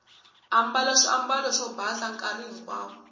ambala swiambalo swo basa nkarhi hinkwawo